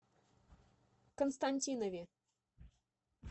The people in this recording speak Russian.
константинове